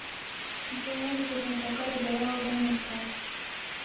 Dva naj bi kot natakarja delala v Benetkah.